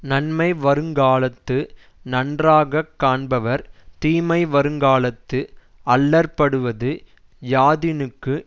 நன்மை வருங்காலத்து நன்றாகக் காண்பவர் தீமை வருங்காலத்து அல்லற்படுவது யாதினுக்கு